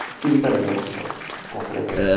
চিন্তা নেই